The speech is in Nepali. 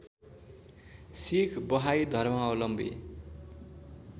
सिख बहाई धर्मावलम्बी